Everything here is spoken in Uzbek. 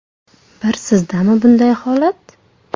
Bir sizdami bunday holat?